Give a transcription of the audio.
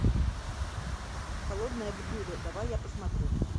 холодное блюдо давай я посмотрю